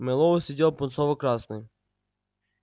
мэллоу сидел пунцово-красный